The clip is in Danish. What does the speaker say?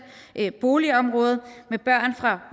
boligområde med børn fra